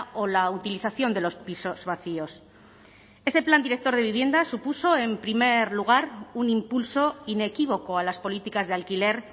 o la utilización de los pisos vacíos ese plan director de vivienda supuso en primer lugar un impulso inequívoco a las políticas de alquiler